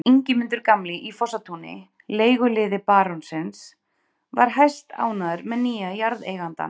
Ingimundur gamli í Fossatúni, leiguliði barónsins, var hæstánægður með nýja jarðeigandann.